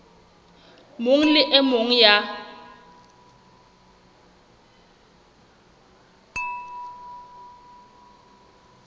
mong le e mong ya